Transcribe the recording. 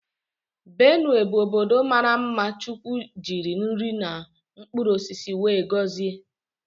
Benue bụ ọbọdọ maara mma chukwu jiri nri na mkpụrụ osisi wee gọzie.